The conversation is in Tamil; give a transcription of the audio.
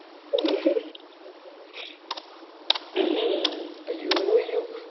ஐயோ ஐயோ